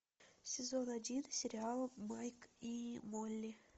сезон один сериала майк и молли